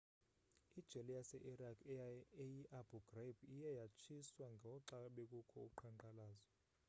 ijele yase-iraq eyi-abu ghraib iye yatshiswa ngoxa bekukho uqhankqalazo